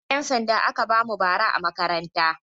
Hular 'yansanda aka ba mu bara a makaranta.